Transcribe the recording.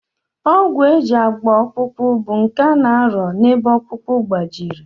Ọgwụ e ji agba ọkpụkpụ bụ nke a na-arịọ n'ebe ọkpụkpụ gbajiri